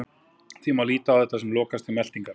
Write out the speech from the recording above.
því má líta á þetta sem lokastig meltingar